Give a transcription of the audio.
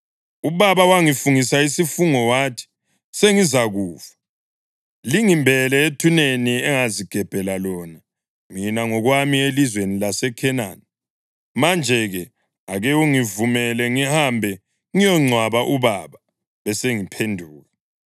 ‘Ubaba wangifungisa isifungo wathi, “Sengizakufa; lingimbele ethuneni engazigebhela lona mina ngokwami elizweni laseKhenani.” Manje-ke ake ungivumele ngihambe ngiyongcwaba ubaba; besengiphenduka.’ ”